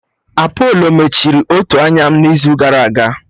Apolo mechiri otu anya m n'izu gara aga